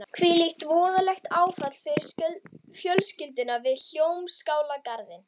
Hvílíkt voðalegt áfall fyrir fjölskylduna við Hljómskálagarðinn.